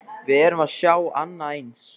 Við erum að sjá annað eins?